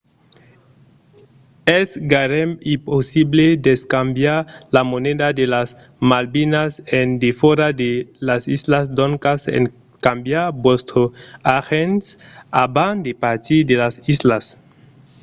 es gaireben impossible d'escambiar la moneda de las malvinas en defòra de las islas doncas escambiatz vòstre argent abans de partir de las islas